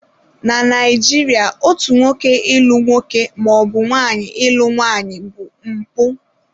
Na Naijiria otu nwoke ịlụ nwoke maọbụ nwaanyị ịlụ nwaanyị bụ mpụ.